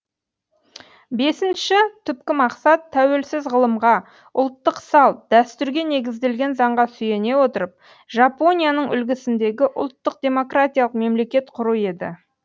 бесінші түпкі мақсат тәуелсіз ғылымға ұлттық салт дәстүрге негізделген заңға сүйене отырып жапонияның үлгісіндегі ұлттық демократиялық мемлекет құру еді